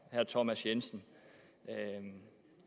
thomas jensen